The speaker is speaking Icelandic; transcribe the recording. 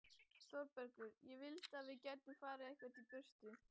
ÞÓRBERGUR: Ég vildi að við gætum farið eitthvert í burtu.